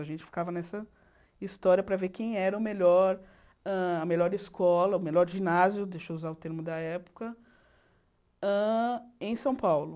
A gente ficava nessa história para ver quem era o melhor, a melhor escola, o melhor ginásio, deixa eu usar o termo da época, hã em São Paulo.